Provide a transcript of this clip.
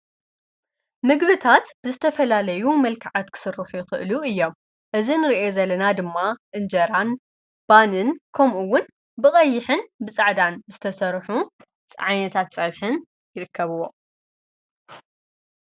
ምግብታት ብዝተፈላለዩ መልከዓት ክስርሑ ይኽእሉ እዮም፡፡ እዚ ንሪኦ ዘለና ድማ እንጀራን ባንን ከምኡውን ብቐይሕን ብጻዕዳን ዝተሠርሑ ዓነታት ጸብሕን ይርከብዎ፡፡